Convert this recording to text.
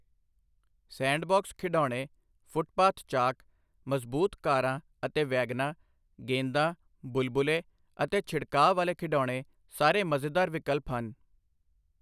Sandbox ਖਿਡੌਣੇ, footpath chalk, ਮਜ਼ਬੂਤ ਕਾਰਾਂ ਅਤੇ ਵੈਗਨਾਂ, ਗੇਂਦਾਂ, ਬੁਲਬੁਲੇ ਅਤੇ ਛਿੜਕਾਅ ਵਾਲੇ ਖਿਡੌਣੇ ਸਾਰੇ ਮਜ਼ੇਦਾਰ ਵਿਕਲਪ ਹਨ।